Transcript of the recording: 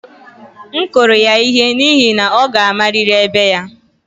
M kụrụ ya ihe n'ihi na ọ ga-amarịrị ebe ya